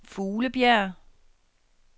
Fuglebjerg